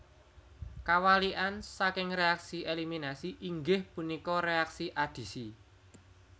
Kawalikan saking reaksi eliminasi inggih punika reaksi adisi